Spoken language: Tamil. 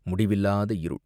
முடிவில்லாத இருள்!